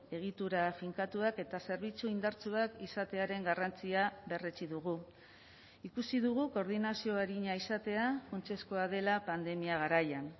egitura finkatuak eta zerbitzu indartsuak izatearen garrantzia berretsi dugu ikusi dugu koordinazio arina izatea funtsezkoa dela pandemia garaian